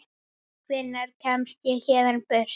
Hvenær kemst ég héðan burt?